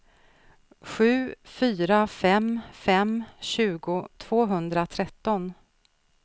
sju fyra fem fem tjugo tvåhundratretton